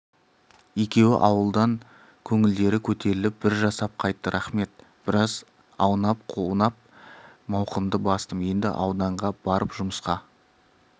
екеуі ауылдан көңілдері көтеріліп бір жасап қайтты рақмет біраз аунап-қунап мауқымды бастым енді ауданға барып жұмысқа